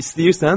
İstəyirsən?